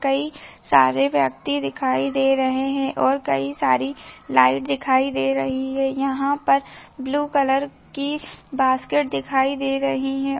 कई सारे व्यक्ति दिखाई दे रहे हैं और कई सारी लाइट दिखाई दे रही है यहाँ पर ब्लू कलर के बास्केट दिखाई दे रही है।